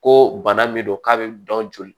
Ko bana min don k'a bɛ dɔn joli